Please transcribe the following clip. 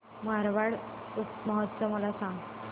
मारवाड महोत्सव मला सांग